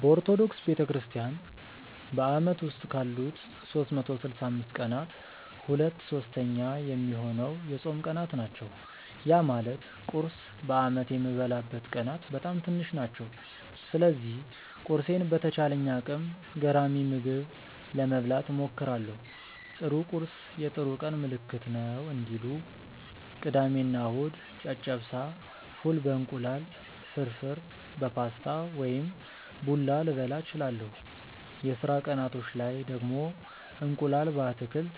በኦርቶዶክስ ቤተክርስትያን በአመት ውስጥ ካሉት 365 ቀናት ሁለት ሶስተኛ ሚሆነው የጾም ቀናት ናቸው። ያ ማለት ቁርስ በአመት የምበላበት ቀናት በጣም ትንሽ ናቸው። ስለዚህ ቁርሴን በተቻለኝ አቅም ገራሚ ምግብ ለመብላት እሞክራለው 'ጥሩ ቁርስ የጥሩ ቀን ምልክት ነው' እንዲሉ። ቅዳሜ እና እሁድ ጨጨብሳ፣ ፉል በ እንቁላል፣ ፍርፍር በፓስታ ወይም ቡላ ልበላ እችላለው። የስራ ቀናቶች ላይ ደግሞ እንቁላል በአትክልት